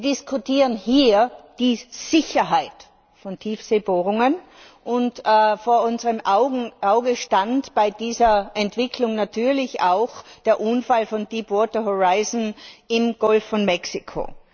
Wir diskutieren hier die Sicherheit von Tiefseebohrungen. Vor unserem Auge stand bei dieser Entwicklung natürlich auch der Unfall von Deepwater Horizon im Golf von Mexiko.